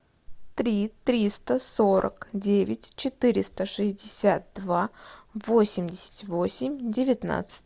три триста сорок девять четыреста шестьдесят два восемьдесят восемь девятнадцать